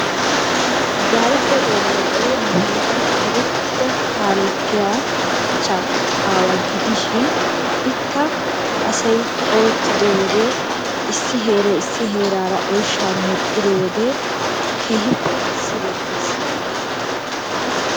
Darge Belexxee nu heeran erettida kaalettiya cha aawa gidishin ikka asay ooyettido wode issi heeray hara heerara oyshshaa medhdhiro wode keehiippe sigettees.